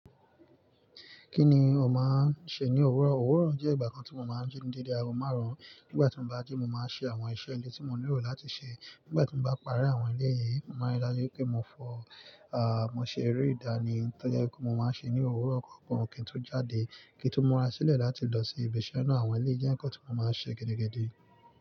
Kí ni o máa ń ṣe ní òwúrọ̀? Òwúrọ̀ jẹ́ ìgbà kan tí mo máa ń jí dédé ago marun. Nígbà tí mo bá ji, mo máa ṣe àwọn iṣẹ́ ilé tí mo nílò láti ṣe. Nígbà tí mo bá parí àwọn ilé yìí, mo máa rí i lájú pé mo fọ, a, mo ṣe eré ìdánì. Toje kí mo máa n ṣe ní òwúrọ̀ or kí n tó jáde kí n tó múra sílẹ̀ láti lọ sí ibi iṣẹ́ náà. Àwọn ele yi jẹ́ nǹkan tí mo máa ń ṣe gidi gidi.